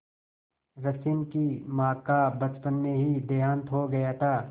रश्मि की माँ का बचपन में ही देहांत हो गया था